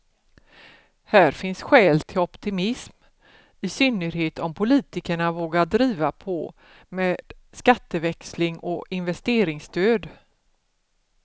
Här finns skäl till optimism, i synnerhet om politikerna vågar driva på med skatteväxling och investeringsstöd.